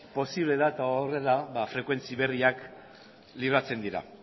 posible da eta horrela frekuentzi berriak libratzen dira